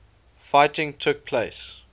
fighting took place